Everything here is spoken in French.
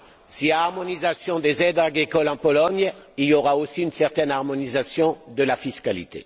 S'il y a harmonisation des aides agricoles en Pologne, il y aura aussi une certaine harmonisation de la fiscalité.